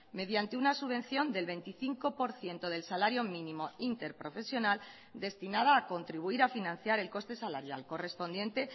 mediante una subvención del veinticinco por ciento del salario mínimo interprofesional destinada a contribuir a financiar el coste salarial correspondiente